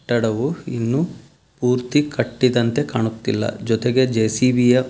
ಕಟ್ಟಡವು ಇನ್ನು ಪೂರ್ತಿ ಕಟ್ಟಿದಂತೆ ಕಾಣುತ್ತಿಲ್ಲ ಜೊತೆಗೆ ಜೆ.ಸಿ.ಬಿ ಯ --